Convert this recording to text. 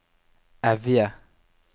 Evje